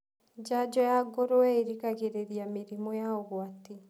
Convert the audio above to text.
Janjo ya ngũrũwe ĩgiragĩrĩria mĩrimũ ya ũgwati.